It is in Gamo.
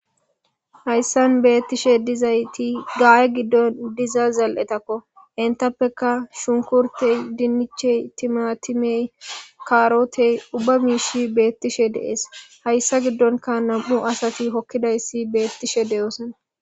Hayissan bettishshe dizayitti gaya giddonni dizo zal''etakko .enittappekka shunikuriteyi dinichcheyi timatimeyi kaaroteyi ubba mishshi betishshe de'ees.hayissa giddonikka nam''u asati hokkidayissi betishshe de'osona